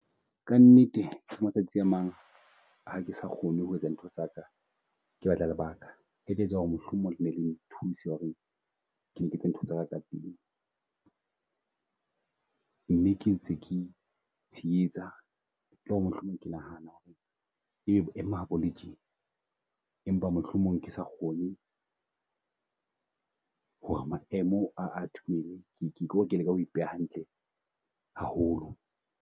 Ka nnete ke matsatsi a mang, ha ke sa kgone ho etsa ntho tsaka, ke batla lebaka. E tse tsa ho re mohlomong ne le nthuse ho re ke ntse ntho tsaka ka pele. Mme ke tshenyetsa e le ho re mohlomong ke nahana ho re e be boemo ha bo le tje empa mohlomong ke sa kgone ho re maemo a . Ko re ke leka ho ipeha hantle haholo.